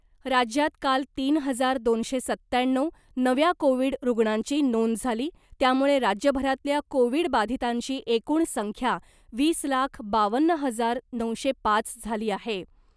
राज्यात काल तीन हजार दोनशे सत्त्याण्णव नव्या कोविड रुग्णांची नोंद झाली , त्यामुळे राज्यभरातल्या कोविडबाधितांची एकूण संख्या वीस लाख बावन्न हजार नऊशे पाच झाली आहे .